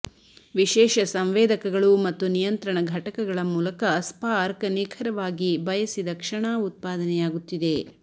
ವಿಶೇಷ ಸಂವೇದಕಗಳು ಮತ್ತು ನಿಯಂತ್ರಣ ಘಟಕಗಳ ಮೂಲಕ ಸ್ಪಾರ್ಕ್ ನಿಖರವಾಗಿ ಬಯಸಿದ ಕ್ಷಣ ಉತ್ಪಾದನೆಯಾಗುತ್ತಿದೆ